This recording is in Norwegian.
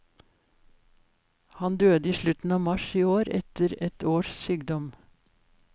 Han døde i slutten av mars i år, etter et års sykdom.